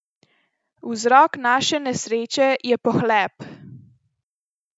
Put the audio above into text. Vzrok naše nesreče je pohlep!